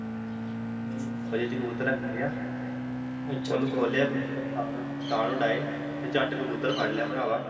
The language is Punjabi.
ਹਮ ਉਹ ਜਿਹਤੇ ਕਬੂਤਰ ਰੱਖੀ ਦੇ ਐ ਓਹਨੂੰ ਖੋਲਿਆ ਕਬੂਤਰ ਤਾਅ ਨੂੰ ਤਾਅ ਉਡਾਏ ਤੇ ਝੱਟ ਕਬੂਤਰ ਫੜ ਲਿਆ ਪਰਾਵਾਂ